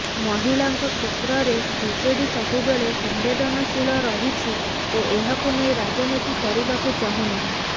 ମହିଳାଙ୍କ କ୍ଷେତ୍ରରେ ବିଜେଡି ସବୁବେଳେ ସମ୍ବେଦନଶୀଳ ରହିଛି ଓ ଏହାକୁ ନେଇ ରାଜନୀତି କରିବାକୁ ଚାହୁଁନାହିଁ